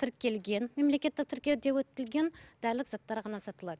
тіркелген мемлекеттік тіркеуде өтілген дәрілік заттар ғана сатылады